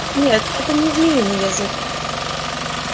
нет это не змеиный язык